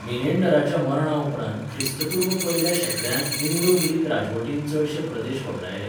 मिनेंडराच्या मरणा उपरांत ख्रिस्तपूर्व पयल्या शेंकड्यांत इंडो ग्रीक राजवटीन चडशे प्रदेश वगडायले.